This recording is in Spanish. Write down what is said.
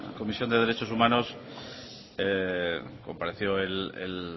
comisión de derechos humanos compareció el